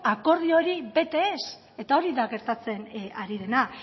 akordio hori bete ez eta hori da gertatzen ari dena